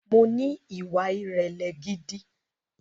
Mo ní ìwà ìrẹ̀lẹ̀ gidi